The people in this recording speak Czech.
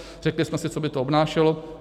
Řekli jsme si, co by to obnášelo.